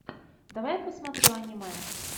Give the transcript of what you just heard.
давай посмотрю аниме